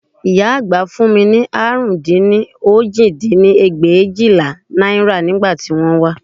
Ìyá àgbà fún mi ní àrún dín ní òjì dín ní ẹgbẹ̀éjìlá náírà ní ìgbà tí wọ́n wá